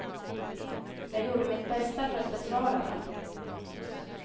Jag gjorde mitt bästa för att besvara dem.